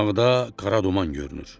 Uzaqda qara duman görünür.